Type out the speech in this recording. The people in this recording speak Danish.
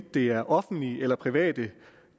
det er offentlige eller private